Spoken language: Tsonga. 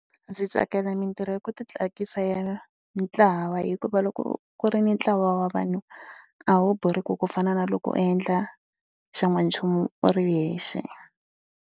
Ndzi tsakela mitirho yo titsakisa ya ntlawa hikuva loko ku ri ni ntlawa wa vanhu a wu borheki ku fana na loko u endla xan'wanchumu u ri yexe.